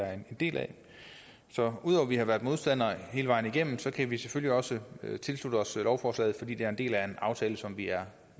er en del af så ud over at vi har været modstandere af afgiften hele vejen igennem kan vi selvfølgelig også tilslutte os lovforslaget fordi det er en del af en aftale som vi er